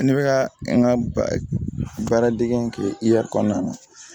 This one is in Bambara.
Ne bɛ ka n ka baara dege kɛ kɔnɔna na